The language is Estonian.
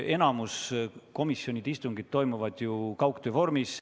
Enamik komisjonide istungeid toimub ju kaugtöö vormis.